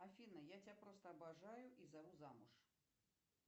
афина я тебя просто обожаю и зову замуж